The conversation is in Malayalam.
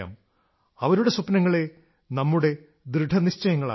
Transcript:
അവരുടെ സ്വപ്നങ്ങളെ നമ്മുടെ ദൃഢനിശ്ചയങ്ങളാക്കാം